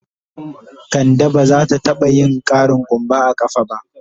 Ka de ba za ta taba yin ƙarin kumba a kafa ba.